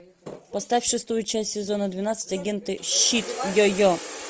поставь шестую часть сезона двенадцать агенты щит йо йо